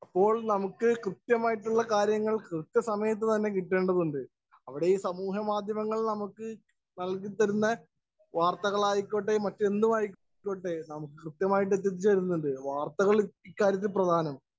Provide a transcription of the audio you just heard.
Speaker 1 അപ്പോള്‍ നമുക്ക് കൃത്യമായിട്ടുള്ള കാര്യങ്ങള്‍ കൃത്യസമയത്ത് തന്നെ കിട്ടേണ്ടതുണ്ട്. അവിടെ ഈ സമൂഹമാധ്യമങ്ങള്‍ നമുക്ക് നല്‍കിതരുന്ന വാര്‍ത്തകള്‍ ആയിക്കൊള്ളട്ടെ, എന്തുമായിക്കൊള്ളട്ടെ നമുക്ക് കൃത്യമായി എത്തിച്ചേരുന്നുണ്ട്. വാര്‍ത്തകള്‍ ഇക്കാര്യത്തില്‍ പ്രധാനം.